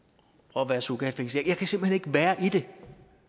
og være surrogatfængslet jeg kan simpelt hen ikke være i det